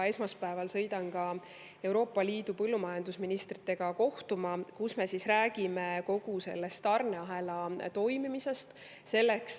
Esmaspäeval sõidan Euroopa Liidu põllumajandusministritega kohtuma, kus me räägime kogu tarneahela toimimisest.